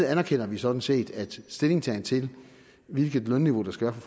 anerkender vi sådan set at stillingtagen til hvilket lønniveau der skal